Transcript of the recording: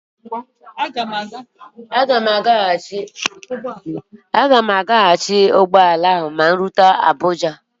Aga m a ga maka nhazi ụgbọala m ma m rute Abuja